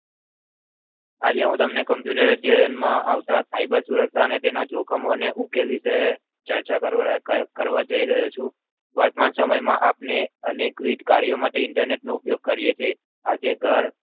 આજે હું તમને computer અધ્યાયન માં આવતા cyber સુરક્ષાઅને જોખમો અને ઉકેલ વિષે ચર્ચા કરવા જય રહ્યો છું વર્તમાન સમય માં અને વિવિધ કાર્યો માટે Internet ઉપયોગ કરીએ છે આજે ઘર